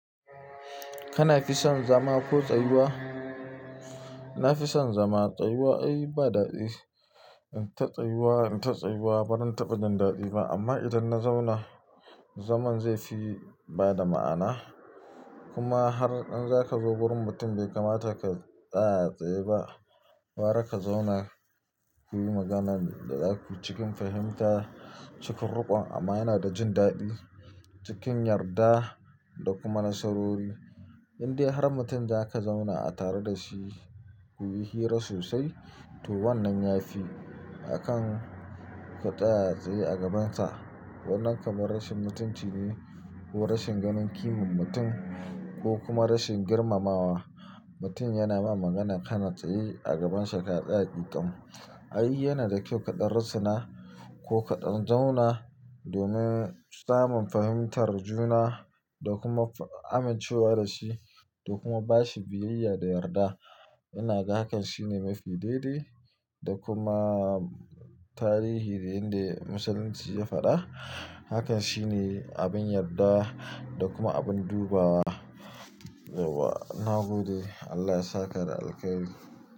Kana fi son zama ko tsayuwa? Na fi son zama, tsayuwa ai ba daɗi. In ta tsayuwa, in ta tsayuwa, ba ran taɓa jin daɗi ba amma idan na zauna, zaman zai fi bada ma'ana. Kuma har in za ka zo gurin mutum bai kamata ka tsaya a tsaye ba. Gara ka zauna kuyi maganan da za ku cikin fahimta, cikin ruƙon amana da jin daɗi cikin yarda da kuma nasarori. Inde har mutum za ka zauna a tare da shi kuyi hira sosai to wannan ya fi akan ka tsaya a tsaye a gabansa. Wannan kamar rashin mutunci ne ko rashin ganin kimar mutum ko kuma rashin girmamawa. Mutum yana ma magana kana tsaye a gabansa ka tsaya ƙiƙam. Ai yana da kyau kaɗan russuna ko kaɗan zauna domin samun fahimtar juna da kuma fa amincewa da shi da kuma ba shi biyayya da yarda. Ina ga hakan shine mafi daidai da kuma tarihi da inda Musulunci ya faɗa. Hakan shine abin yarda da kuma abin dubawa. Yauwa, na gode. Allah ya saka da alkhairi.